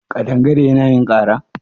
ƙadangare Yana yin ƙara?